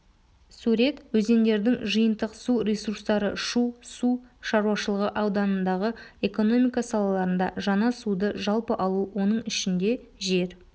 сурет өзендердің жиынтық су ресурстары шу су шаруашылығы ауданындағы экономика салаларында жаңа суды жалпы алу оның ішінде жер